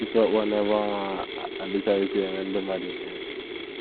Isu ọkpọ n’ebe ọrụ adịchaghịzi eme ndị mmadụ ihere.